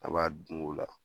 A b'a dun o la.